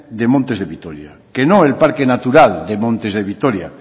de montes de vitoria que no el parque natural de montes de vitoria